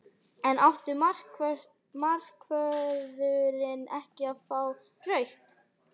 En átti markvörðurinn ekki að fá rautt?